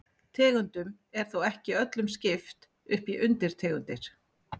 Tegundum er þó ekki öllum skipt upp í undirtegundir.